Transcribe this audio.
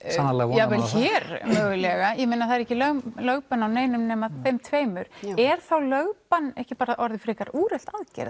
jafnvel hér það er ekki lögbann á neinum nema þeim tveimur er þá lögbann ekki orðið frekar úrelt aðgerð